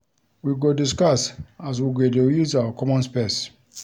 We go discuss as we go dey use our common space.